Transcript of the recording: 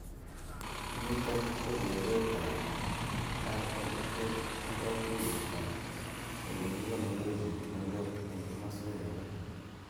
Nitok kokeret nebo ILO ak katuyet ab olekikonorei chepkondok eng kimoswek alak.